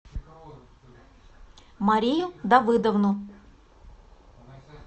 марию давыдовну